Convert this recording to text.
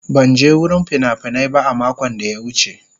Ban je wurin fina-finai ba a makon da ya wuce.